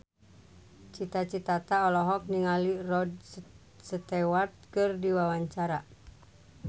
Cita Citata olohok ningali Rod Stewart keur diwawancara